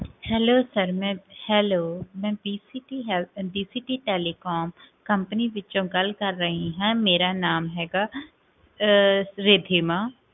Hello hello ਮੈਂ